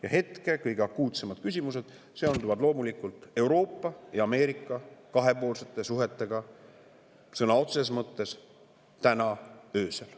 Ja hetkel seonduvad kõige akuutsemad küsimused loomulikult Euroopa ja Ameerika kahepoolsete suhetega – sõna otseses mõttes täna öösel.